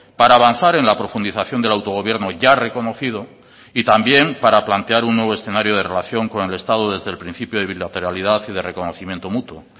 para avanzar en la profundización del autogobierno ya reconocido y también para plantear un nuevo escenario de relación con el estado desde el principio de bilateralidad y de reconocimiento mutuo